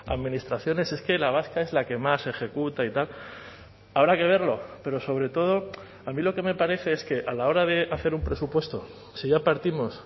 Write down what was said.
administraciones es que la vasca es la que más ejecuta y tal habrá que verlo pero sobre todo a mí lo que me parece es que a la hora de hacer un presupuesto si ya partimos